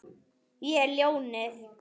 Ég er ljónið.